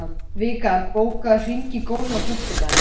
Vikar, bókaðu hring í golf á föstudaginn.